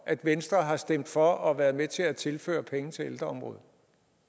at venstre har stemt for at være med til at tilføre penge til ældreområdet